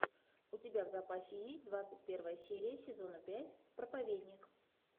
у тебя в запасе есть двадцать первая серия сезона пять проповедник